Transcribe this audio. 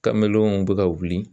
Kamelenw bi ka wuli